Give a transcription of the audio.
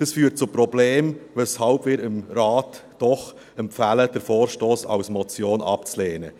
Dies führt zu Problemen, weshalb wir dem Rat doch empfehlen, den Vorstoss als Motion abzulehnen.